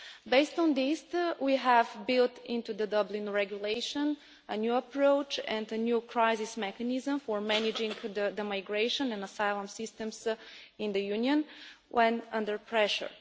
Based on this, we have built into the Dublin Regulation a new approach and a new crisis mechanism for managing the migration and asylum systems in the Union when under pressure.